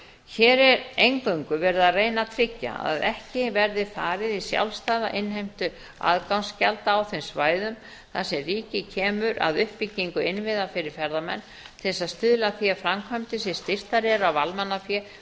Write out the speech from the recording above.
hér er eingöngu verið að reyna að tryggja að ekki verði farið í sjálfstæða innheimtu aðgangsgjalda á þeim svæðum þar sem ríkið kemur að uppbyggingu innviða fyrir ferðamenn til að stuðla að því að framkvæmdir sem styrktar eru af almannafé